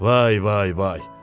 Vay vay vay.